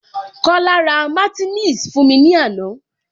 Kola ra martineliss fún mi ní ana